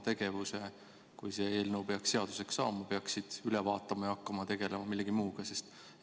Kes siis, kui see eelnõu peaks seaduseks saama, peaksid üle vaatama oma tegevuse ja hakkama tegelema millegi muuga?